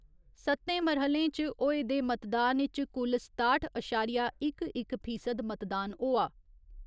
सत्तें मरह्‌ले इच होए दे मतदान इच कुल सताठ अशारिया इक इक फीसद मतदान होआ।